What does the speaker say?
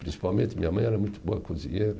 Principalmente, minha mãe era muito boa cozinheira.